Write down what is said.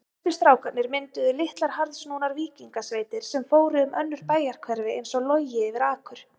Stærstu strákarnir mynduðu litlar harðsnúnar víkingasveitir sem fóru um önnur bæjarhverfi einsog logi yfir akur.